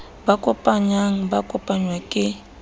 ba kopanyang ba kopangwa ke